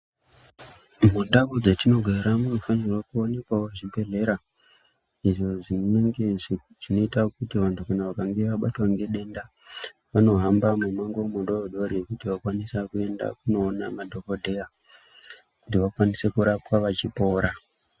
Mundau dzatinogara munofanirwa kuonekwawo zvibhedhlera izvo zvinenge zvinoita kuti vantu vachinge vabatwa ngedenda vakwanise kuhamba mumango mudodori kuti vakwanise kuenda koona madhokodheya kuti vakwanise kurapwa vachipora.